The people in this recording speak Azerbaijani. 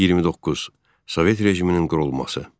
29. Sovet rejiminin qurulması.